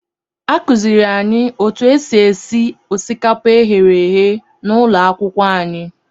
Akụziiri anyị otu esi esi osikapa e ghere eghe n'ụlọ akwụkwọ anyị.